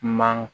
Man